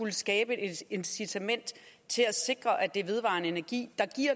at skabe et incitament til at sikre at der i vedvarende energi der